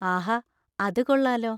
ആഹാ, അത് കൊള്ളാലോ.